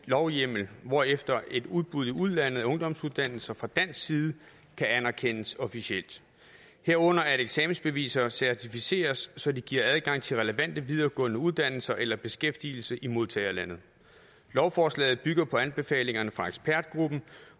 lovhjemmel hvorefter et udbud i udlandet af ungdomsuddannelser fra dansk side kan anerkendes officielt herunder at eksamensbeviser certificeres så de giver adgang til relevante videregående uddannelser eller beskæftigelse i modtagerlandet lovforslaget bygger på anbefalingerne fra ekspertgruppen